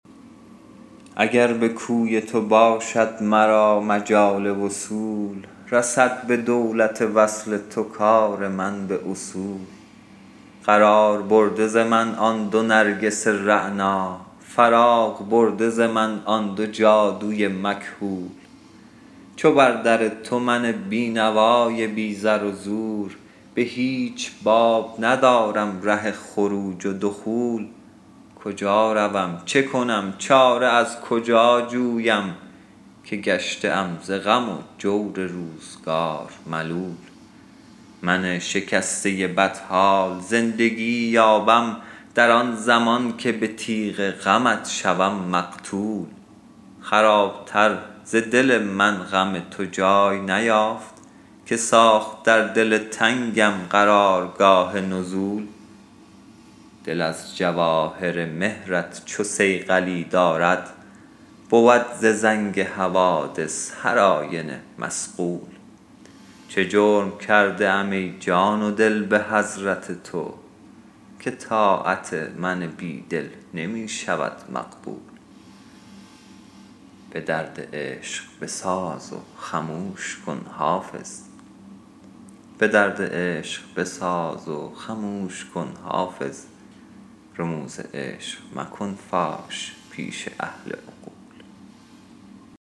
اگر به کوی تو باشد مرا مجال وصول رسد به دولت وصل تو کار من به اصول قرار برده ز من آن دو نرگس رعنا فراغ برده ز من آن دو جادو ی مکحول چو بر در تو من بینوا ی بی زر و زور به هیچ باب ندارم ره خروج و دخول کجا روم چه کنم چاره از کجا جویم که گشته ام ز غم و جور روزگار ملول من شکسته بدحال زندگی یابم در آن زمان که به تیغ غمت شوم مقتول خراب تر ز دل من غم تو جای نیافت که ساخت در دل تنگم قرار گاه نزول دل از جواهر مهر ت چو صیقلی دارد بود ز زنگ حوادث هر آینه مصقول چه جرم کرده ام ای جان و دل به حضرت تو که طاعت من بیدل نمی شود مقبول به درد عشق بساز و خموش کن حافظ رموز عشق مکن فاش پیش اهل عقول